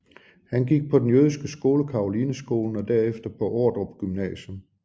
Han gik på den jødiske skole Carolineskolen og derefter på Ordrup Gymnasium